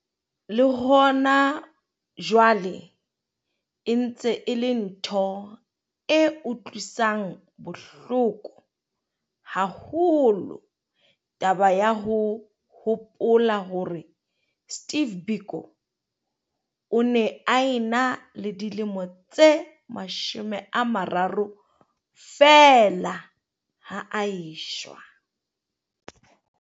Le hona jwale e ntse e le ntho e utlwisang bohloko haholo taba ya ho hopola hore Steve Biko o ne a ena le dilemo tse 30 feela ha a eshwa.